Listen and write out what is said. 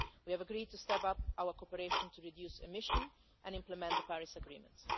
We have agreed to step up our cooperation to reduce emissions and implement the Paris Agreement.